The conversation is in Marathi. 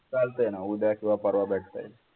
चालते ना उद्या किंवा परवा भेटता येईल.